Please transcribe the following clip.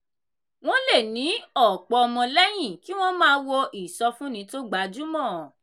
wọ́n lè ní ọ̀pọ̀ ọmọlẹ́yìn kí wọ́n máa wo ìsọfúnni tó gbajúmọ̀.